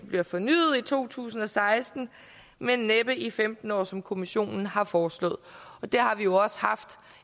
bliver fornyet i to tusind og seksten men næppe i femten år som kommissionen har foreslået det har vi jo også haft